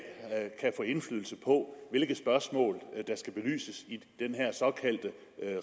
kan få indflydelse på hvilke spørgsmål der skal belyses i den her såkaldte